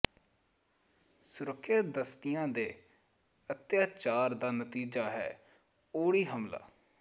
ਸੁਰੱਖਿਆ ਦਸਤਿਆਂ ਦੇ ਅੱਤਿਆਚਾਰ ਦਾ ਨਤੀਜਾ ਹੈ ਉੜੀ ਹਮਲਾ